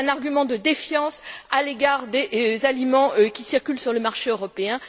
C'est un argument de défiance à l'égard des aliments qui circulent sur le marché européen.